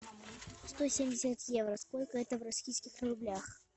сто семьдесят евро сколько это в российских рублях